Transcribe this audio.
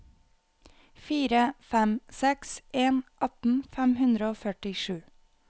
fire fem seks en atten fem hundre og førtisju